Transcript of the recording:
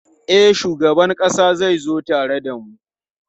E, shugaban ƙasa zai zo tare da mu.